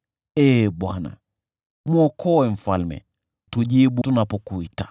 Ee Bwana , mwokoe mfalme! Tujibu tunapokuita!